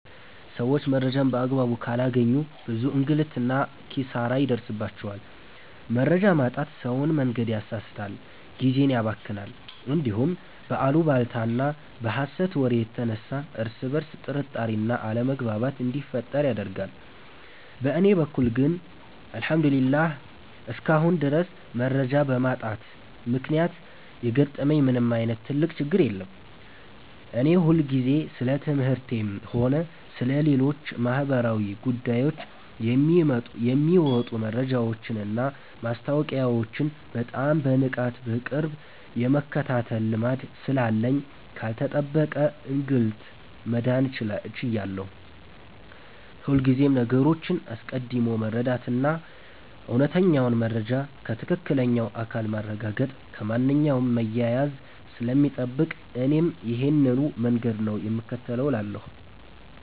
ሰዎች መረጃን በአግባቡ ካላገኙ ብዙ እንግልትና ኪሳራ ይደርስባቸዋል። መረጃ ማጣት ሰውን መንገድ ያሳስታል፣ ጊዜን ያባክናል፣ እንዲሁም በአሉባልታና በሐሰት ወሬ የተነሳ እርስ በርስ ጥርጣሬና አለመግባባት እንዲፈጠር ያደርጋል። በእኔ በኩል ግን እግዚአብሔር ይመስገን እስካሁን ድረስ መረጃ በማጣት ምክንያት የገጠመኝ ምንም ዓይነት ትልቅ ችግር የለም። እኔ ሁልጊዜም ስለ ትምህርቴም ሆነ ስለ ሌሎች ማኅበራዊ ጉዳዮች የሚወጡ መረጃዎችንና ማስታወቂያዎችን በጣም በንቃትና በቅርብ የመከታተል ልማድ ስላለኝ ካልተጠበቀ እንግልት መዳን ችያለሁ። ሁልጊዜም ነገሮችን አስቀድሞ መረዳትና እውነተኛውን መረጃ ከትክክለኛው አካል ማረጋገጥ ከማንኛውም መያያዝ ስለሚጠብቅ እኔም ይሄንኑ መንገድ ነው የምከተለው እላለሁ።